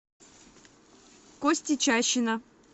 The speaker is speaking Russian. кости чащина